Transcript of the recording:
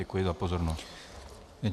Děkuji za pozornost.